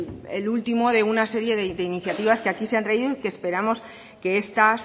el último de una serie de iniciativas que aquí se han traído y que esperamos que estas